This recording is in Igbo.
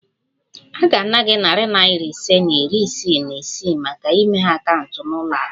A ga-ana gị narị naira ise na iri isii na isii maka imeghe akaụntụ na ụlọ akụ